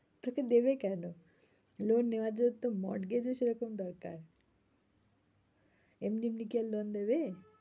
তোকে দেবে কেন? loan নেওয়ার জন্য তো mortgage ও সে রকম দরকার এমনি এমনি কি আর loan দেবে?